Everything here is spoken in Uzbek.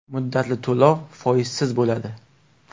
Muddatli to‘lov foizsiz bo‘ladi.